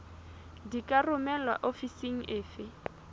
di ka romelwa ofising efe